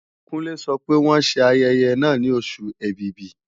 Kúnlé sọ pé wọ́n ṣe ayẹyẹ náà ní Oṣù Ẹ̀bìbì